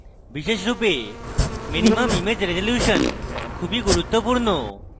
বিশেষরূপে minimum image resolution খুবই গুরুত্বপূর্ণ